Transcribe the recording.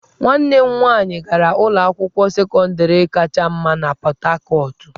Nwanne m nwanyị gara ụlọ akwụkwọ sekọndịrị kacha mma na Pọt Hakọt.